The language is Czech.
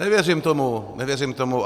Nevěřím tomu, nevěřím tomu.